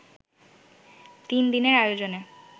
তিন দিনের আয়োজনে